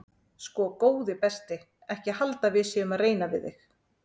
Sko góði besti ekki halda að við séum að reyna við þig.